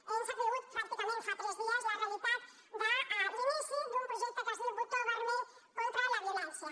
hem sabut pràcticament fa tres dies la realitat de l’inici d’un projecte que es diu botó vermell contra la violència